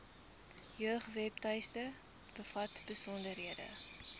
jeugwebtuiste bevat besonderhede